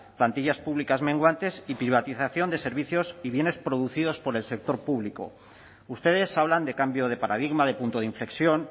plantillas públicas menguantes y privatización de servicios y bienes producidos por el sector público ustedes hablan de cambio de paradigma de punto de inflexión